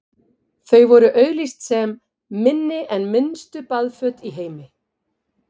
þau voru auglýst sem „minni en minnstu baðföt í heimi“